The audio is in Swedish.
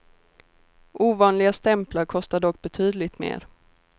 Ovanliga stämplar kostar dock betydligt mer.